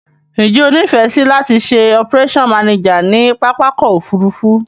Njé o nífèsì láti se operation manager ni pápákò òfurufú